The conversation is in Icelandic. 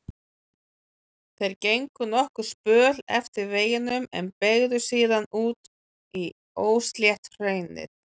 Þeir gengu nokkurn spöl eftir veginum en beygðu síðan út í óslétt hraunið.